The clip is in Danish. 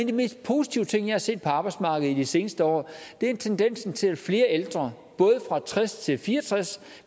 de mest positive ting jeg har set på arbejdsmarkedet i de seneste år er tendensen til at flere ældre både fra tres til fire og tres